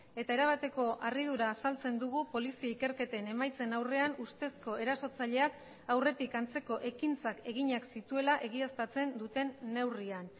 eta erabateko harridura azaltzen dugu polizia ikerketen emaitzen aurrean ustezko erasotzaileak aurretik antzeko ekintzak eginak zituela egiaztatzen duten neurrian